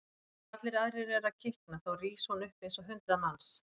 Þegar allir aðrir eru að kikna þá rís hún upp eins og hundrað manns.